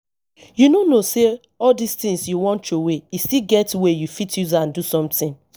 you no know say all dis things you wan throway e still get way you fit use am do something